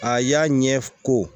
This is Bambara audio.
A y'a ɲɛ ko